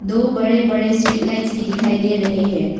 दो बड़े बड़े स्ट्रीट लाइट्स भी दिखाई दे रहे हैं।